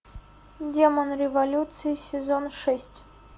демон революции сезон шесть